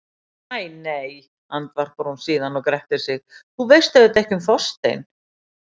Æ nei, andvarpar hún síðan og grettir sig, þú veist auðvitað ekki um Þorstein.